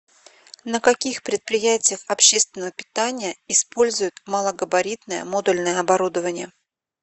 на каких предприятиях общественного питания используют малогабаритное модульное оборудование